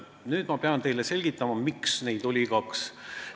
Nüüd ma pean teile selgitama, miks neid oli kaks.